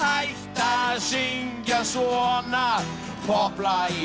að syngja svona popplag í